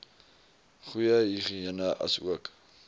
goeie higïene asook